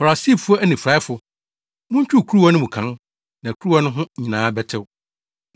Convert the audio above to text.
Farisifo anifuraefo! Muntwiw kuruwa no mu kan, na kuruwa no ho nyinaa bɛtew!